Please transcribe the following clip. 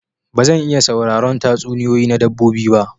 Ba zan iya sauraron tatsuniyoyi na dabbobi ba.